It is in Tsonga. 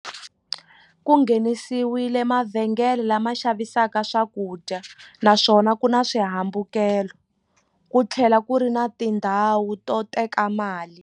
Ku nghenisiwile mavhengele lama xavisaka swakudya naswona ku na swihambukelo ku tlhela ku ri na tindhawu to teka mali.